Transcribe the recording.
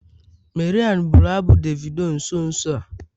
Mariam bụrụ abụ Davido nso nso a.